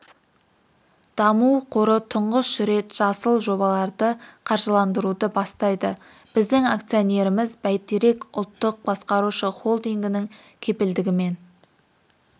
даму қоры тұңғыш рет жасыл жобаларды қаржыландыруды бастайды біздің акционеріміз бәйтерек ұлттық басқарушы холдингінің кепілдігімен